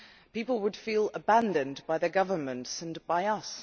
People would feel abandoned by their governments and by us.